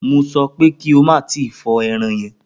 Mo sọ pé kí o má tí ì fọ ẹran yẹn!